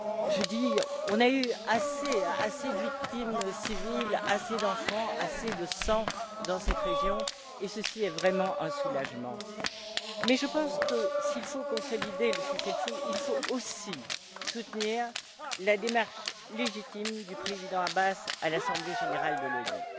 Nous avons eu assez de victimes civiles, assez d'enfants, assez de sang dans cette région et ceci est vraiment un soulagement, mais je pense que, s'il faut consolider le cessez le feu, il faut aussi soutenir la démarche légitime du Président Abbas à l'Assemblée générale de l'ONU.